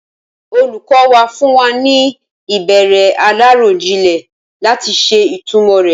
Olùkọ́ wa fún wa ní ìbéèrè aláròjinlè láti ṣe ìtumọ̀ re.